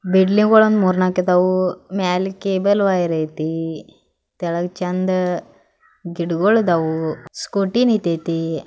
Building ಗಳು ಮೂರ್ ನಾಕ್ ಇದವು ಮ್ಯಾಲ ಕೇಬಲ್ ವೈರ್ ಯೇತಿ ತೆಳಗ ಚಂದ್ ಗಿಡಗೋಲ್ ಇದಾವು ಸ್ಕೂಟಿ ನಿತೇತಿ.